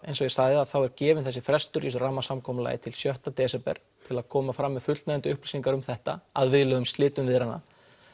eins og ég sagði þá er gefinn þessi frestur í þessu rammasamkomulagi til sjötta desember til að koma fram með fullnægjandi upplýsingar um þetta að viðlögum slitum viðræðna